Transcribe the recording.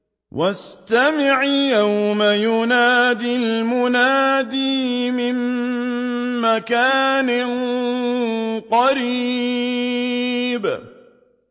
وَاسْتَمِعْ يَوْمَ يُنَادِ الْمُنَادِ مِن مَّكَانٍ قَرِيبٍ